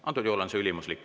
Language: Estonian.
Antud juhul on see ülimuslik.